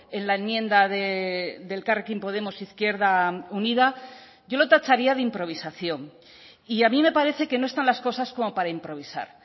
en la enmienda de elkarrekin podemos izquierda unida yo lo tacharía de improvisación y a mí me parece que no están las cosas como para improvisar